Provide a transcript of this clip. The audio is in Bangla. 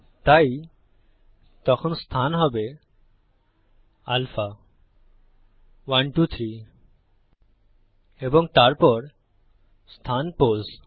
তাই তখন স্থান হবে আলফা 123 এবং তারপর স্থান পোস